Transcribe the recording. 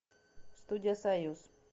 студия союз